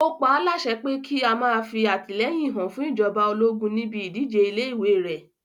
Ó paálásẹ pé kí ó má fí àtìlẹ́yìn hàn fún ìjọba ológun níbi ìdíje ilé ìwé rẹ̀